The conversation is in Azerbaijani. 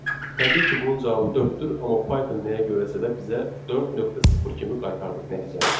Təbii ki, bunun cavabı dörddür, amma Python nəyə görəsə də bizə 4.0 kimi qaytardı nəticəni.